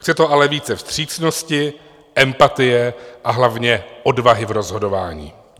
Chce to ale více vstřícnosti, empatie a hlavně odvahy v rozhodování.